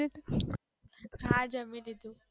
હા જમી લીધું